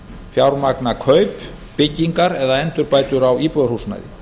fjármagna kaup byggingar eða endurbætur á íbúðarhúsnæði